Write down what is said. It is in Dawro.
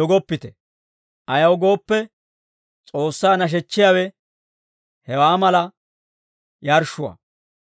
dogoppite. Ayaw gooppe, S'oossaa nashechchiyaawe hewaa mala yarshshuwaa.